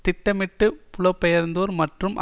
திட்டமிட்டு புலம் பெயர்ந்தோர் மற்றும்